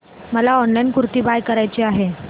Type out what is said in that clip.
मला ऑनलाइन कुर्ती बाय करायची आहे